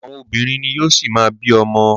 Àwọn obìnrin ni yóò ṣi má bí ọmọ.